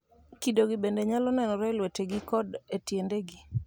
Kidogi bende nyalo nenore e lwetegi koda e tiendegi.